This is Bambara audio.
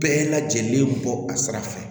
Bɛɛ lajɛlen bɔ a sira fɛ